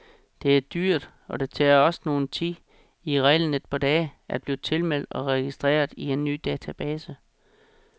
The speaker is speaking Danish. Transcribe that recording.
Det er dyrt, og det tager også noget tid, i reglen et par dage, at blive tilmeldt og registreret i en ny database.